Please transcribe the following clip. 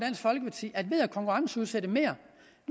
at ved at konkurrenceudsætte mere